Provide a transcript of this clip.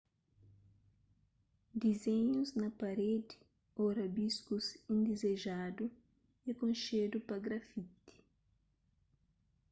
dizénhus na parédi ô rabiskus indizejadu é konxedu pa grafiti